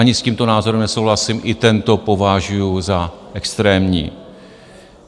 Ani s tímto názorem nesouhlasím, i tento považuju za extrémní.